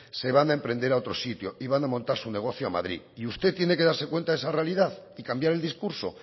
se van a emprender a otro sitio y van a montar su negocio a madrid y usted tiene que darse cuenta de esa realidad y cambiar el discurso